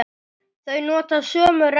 Þau nota sömu rennu.